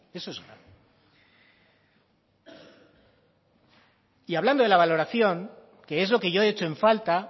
y hablando de la valoración que es lo que yo echo en falta